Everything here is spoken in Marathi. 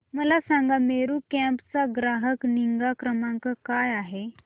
मला सांगा मेरू कॅब चा ग्राहक निगा क्रमांक काय आहे